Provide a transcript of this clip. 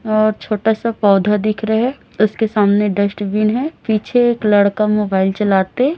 और छोटा सा पौधा दिख रहा है उसके सामने डस्टबिन है पीछे एक लड़का मोबाइल चलाते--